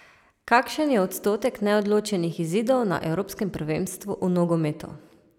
Kakšen je odstotek neodločenih izidov na evropskem prvenstvu v nogometu?